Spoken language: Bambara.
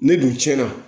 Ne dun tiɲɛna